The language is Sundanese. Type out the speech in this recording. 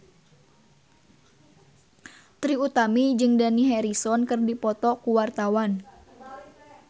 Trie Utami jeung Dani Harrison keur dipoto ku wartawan